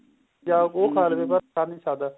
ਜਾ ਸਰ ਨੀਂ ਸਕਦਾ